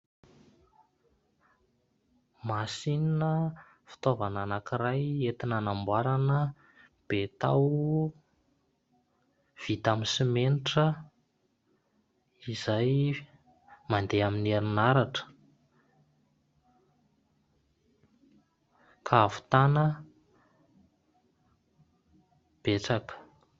Masinina fitaovana anankiray entina anamboarana betao vita amin'ny simenitra izay mandeha amin'ny herinaratra ka havitana betsaka.